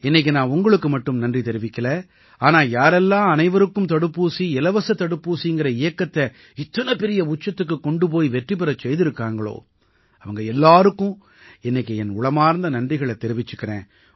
இன்னைக்கு நான் உங்களுக்கு மட்டும் நன்றி தெரிவிக்கலை ஆனா யாரெல்லாம் அனைவருக்கும் தடுப்பூசி இலவச தடுப்பூசிங்கற இயக்கத்தை இத்தனை பெரிய உச்சத்துக்குக் கொண்டு போய் வெற்றி பெறச் செய்திருக்காங்களோ அவங்க எல்லாருக்கும் இன்னைக்கு என் உளமார்ந்த நன்றிகளைத் தெரிவிச்சுக்கறேன்